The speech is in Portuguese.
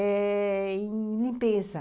eh... em limpeza.